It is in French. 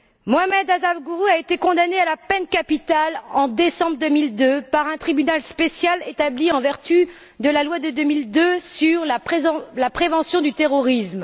Mohammed Afzal Guru a été condamné à la peine capitale en décembre 2002 par un tribunal spécial établi en vertu de la loi de 2002 sur la prévention du terrorisme.